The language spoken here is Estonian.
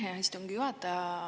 Aitäh, hea istungi juhataja!